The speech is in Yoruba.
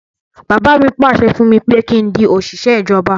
Bàbá mi pàṣẹ fún mi pé kí n di òṣìṣẹ́ ìjọba